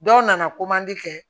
Dɔw nana kɛ